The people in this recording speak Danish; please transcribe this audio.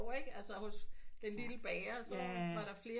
Ikke hos den lille bager så var der flere